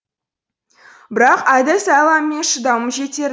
бірақ әдіс айлам мен шыдамым жетер